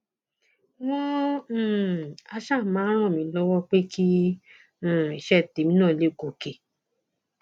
wọn um áà ṣáà máa ràn mí lọwọ pé kí um iṣẹ tèmi náà lè gòkè